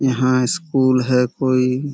यहाँ स्कूल है कोई।